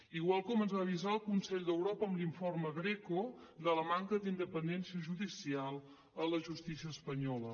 igual com ens va avisar el consell d’europa amb l’informe greco de la manca d’independència judicial a la justícia espanyola